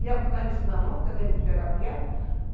Ia com o caniço na mão, aquele caniço de pegar piaba.